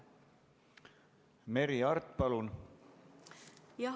Merry Aart, palun!